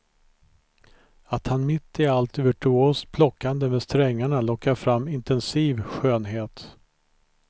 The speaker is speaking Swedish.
Att han mitt i allt virtuost plockande med strängarna lockar fram intensiv skönhet.